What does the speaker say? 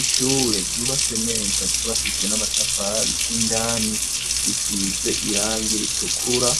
Ishure, ryubatswe neza, ryubatishwe n'amatafari, indani risize irangi ritukura,